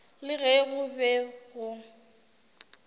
le ge go be go